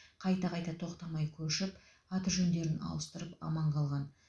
қайта қайта тоқтамай көшіп аты жөндерін ауыстырып аман қалған